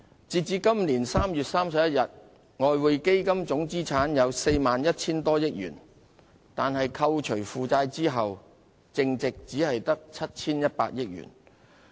截至今年3月31日，外匯基金總資產有 41,000 多億元，但扣除負債後的淨值只有 7,100 億元。